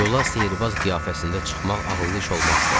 Yola sehrbaz qiyafəsində çıxmaq ağıllı iş olmazdı.